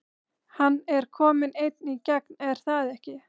Hann er kominn einn í gegn er það ekki?